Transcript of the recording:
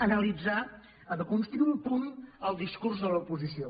analitzem ara desconstruïm un punt el discurs de l’oposició